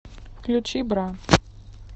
включи бра